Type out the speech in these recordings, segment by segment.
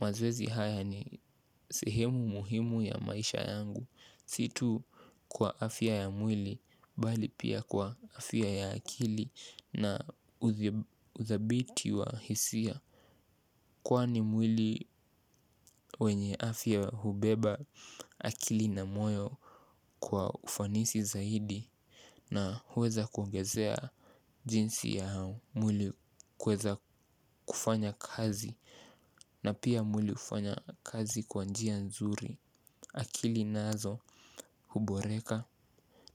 Mazoezi haya ni sehemu muhimu ya maisha yangu. Si tu kwa afya ya mwili bali pia kwa afya ya akili na udhabiti wa hisia kwani mwili wenye afya hubeba akili na moyo kwa ufanisi zaidi. Na huweza kuongezea jinsi ya mwili kuweza kufanya kazi na pia mwili hufanya kazi kwa njia nzuri. Akili nazo huboreka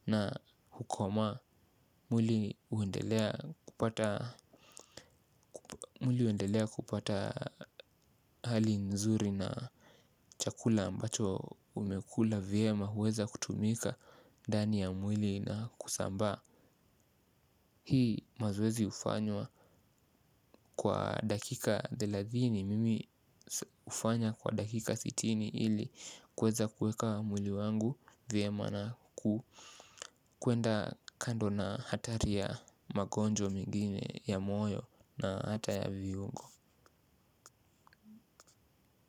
na hukoma. Mwili huendelea kupata hali nzuri na chakula ambacho umekula vyema huweza kutumika ndani ya mwili na kusambaa. Hii mazoezi hufanywa kwa dakika thelathini. Mimi hufanya kwa dakika sitini ili kuweza kuweka mwili wangu vyema na kuku kuenda kando na hatari ya magonjwa mingine ya moyo na hata ya viungo.